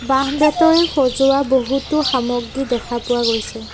বাঁহ বেতৰে সজোৱা বহুতো সামগ্ৰী দেখা পোৱা গৈছে।